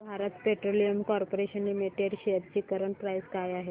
Bharat petroleum corporation limited shares ची current price काय आहे